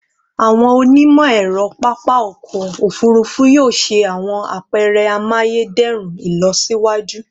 Awọn onimọ-ẹrọ papa ọkọ ofurufu yoo ṣe awọn apẹrẹ amayederun ilọsiwaju